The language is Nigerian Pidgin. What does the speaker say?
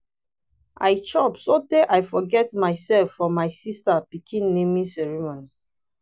i chop so tey i forget myself for my sister pikin naming ceremony.